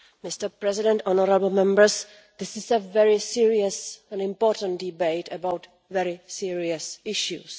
Mr President, honourable Members, this is a very serious and important debate about very serious issues.